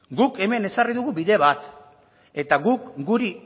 guk hemen ezarri dugu bide bat eta guk guri